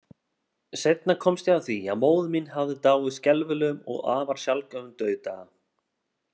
Seinna komst ég að því, að móðir mín hafði dáið skelfilegum og afar sjaldgæfum dauðdaga.